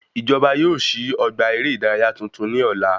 Ìjọba yóò sí ọgbà eré ìdárayá tuntun ní ọ̀la